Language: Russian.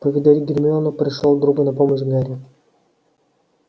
повидать гермиону пришёл другу на помощь гарри